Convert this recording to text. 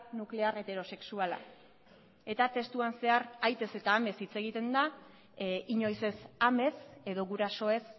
nuklear heterosexuala eta testuan zehar aitez eta amez hitz egiten da inoiz ez amez edo gurasoez